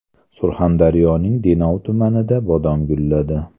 Surxondaryoning Denov tumanida bodom gulladi.